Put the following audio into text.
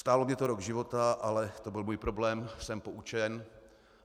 Stálo mě to rok života, ale to byl můj problém, jsem poučen.